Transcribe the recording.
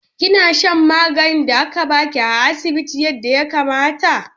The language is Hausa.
Kina shan maganin da aka ba ki a asibiti yadda ya kamata?